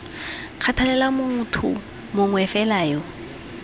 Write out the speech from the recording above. kgathalela motho mongwe fela yo